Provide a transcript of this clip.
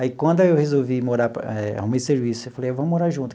Aí, quando eu resolvi morar, eh arrumei serviço, eu falei, vamos morar junto.